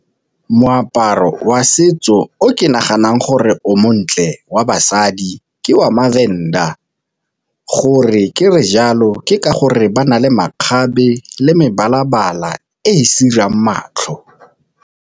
Moaparo wa setso o ke naganang gore o montle wa basadi ke wa maVenda, gore ke re jalo ke ka gore ba na le makgabe le mebala-bala e e sirang matlho.